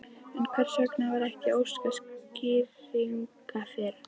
En hvers vegna var ekki óskað skýringa fyrr?